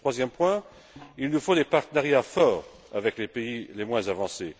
Troisième point il nous faut des partenariats forts avec les pays les moins avancés.